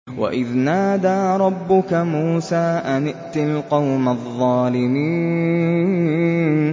وَإِذْ نَادَىٰ رَبُّكَ مُوسَىٰ أَنِ ائْتِ الْقَوْمَ الظَّالِمِينَ